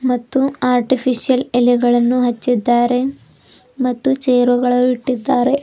ಮತ್ತು ಆರ್ಟಿಫಿಶಿಯಲ್ ಎಲೆಗಳನ್ನು ಹಚ್ಚಿದ್ದಾರೆ ಮತ್ತು ಚೇರುಗಳು ಇಟ್ಟಿದ್ದಾರೆ.